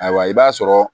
Ayiwa i b'a sɔrɔ